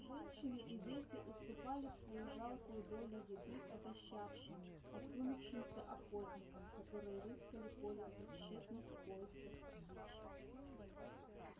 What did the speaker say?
женщины и дети уступали свою жалкую долю еды отощавшим осунувшимся охотникам которые рыскали по лесу в тщетных поисках дичи